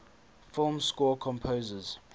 film score composers